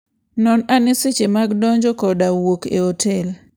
Non ane seche mag donjo koda wuok e otel.